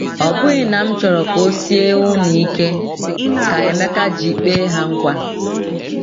“ ‘Ọ bụghị na m chọrọ ka ọ sie unu ike,’ ka Emeka ji kpee ha nkwa.”